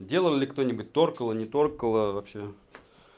делал ли кто-нибудь торкало не торкало вообще